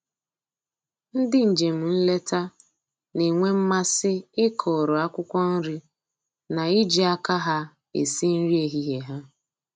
Ndị njem nleta na-enwe mmasị ịkụrụ akwụkwọ nri na iji aka ha esi nri ehihie ha